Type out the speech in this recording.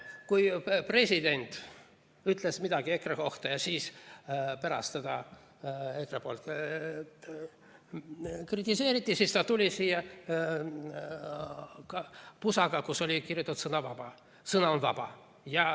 Kord, kui president oli midagi EKRE kohta öelnud ja pärast seda EKRE teda kritiseerinud, tuli president siia pusaga, millele oli kirjutatud "Sõna on vaba".